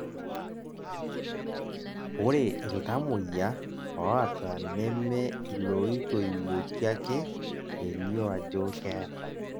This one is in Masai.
ore iltamoyia oota neme ilootoiwuoki ake elioo ajo keeta